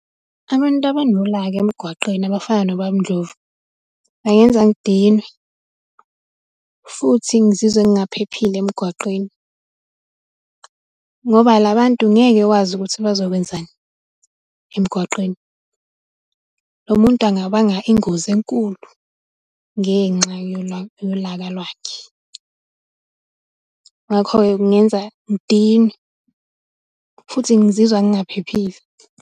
Abantu abanolaka emgwaqeni abafana nobaba uNdlovu, bangenza ngidinwe. Futhi ngizizwe ngingaphephile emgwaqweni, ngoba labantu ngeke wazi ukuthi bazokwenzani emgwaqeni. Lo muntu angabanga ingozi enkulu, ngenxa yolaka lwakhe. Ngakho-ke kungenza ngidinwe futhi ngizizwa ngingaphephile.